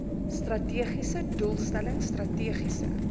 strategiese doelstelling strategiese